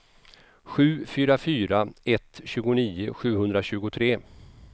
sju fyra fyra ett tjugonio sjuhundratjugotre